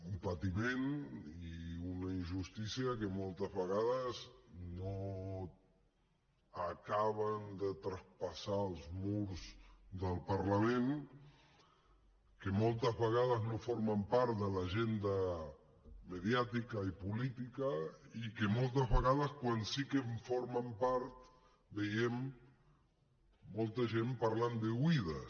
un patiment i una injustícia que moltes vegades no acaben de traspassar els murs del parlament que moltes vegades no formen part de l’agenda mediàtica i política i que moltes vegades quan sí que en formen part veiem molta gent parlant d’oïdes